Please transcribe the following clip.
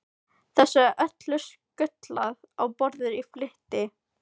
Þessu er öllu skutlað á borðið í flýti.